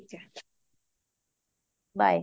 bye